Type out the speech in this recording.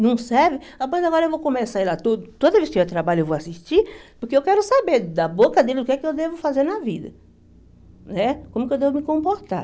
Não serve, ah pois agora eu vou começar a ir lá todo, toda vez que tiver trabalho eu vou assistir, porque eu quero saber da boca dele o que é que eu devo fazer na vida, né como que eu devo me comportar.